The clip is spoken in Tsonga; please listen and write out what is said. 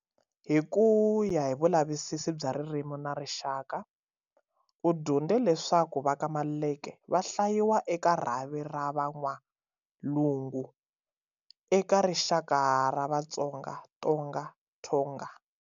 Hi ku ya hi vulavisisi bya ririmi na rixaka, u dyondze leswaku va ka Maluleke, va hlayiwa eka rhavi ra"Va N'walungu" eka rixaka ra Vatsonga, Tonga, Thonga.